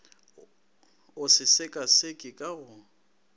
o se sekaseke ka go